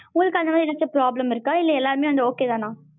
உங்களுக்கு அந்த மாதிரி எதாச்சும் problem இருக்கா? இல்ல எல்லாருமே வந்து okay தனா?